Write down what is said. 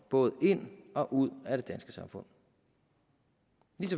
både ind og ud af det danske samfund